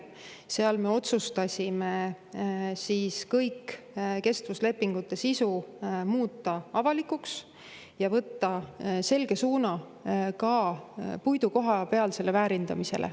Seal me otsustasime kestvuslepingute sisu muuta avalikuks ja võtta selge suuna ka puidu kohapealsele väärindamisele.